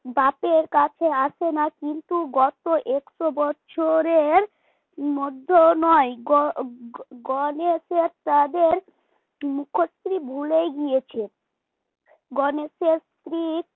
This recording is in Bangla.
বাপের কাছে আসে না কিন্তু গত একশো বছরে মধ্যেও নয় গ গণেশের তাদের মুখশ্রী ভুলেই গিয়েছে গণেশের স্ত্রী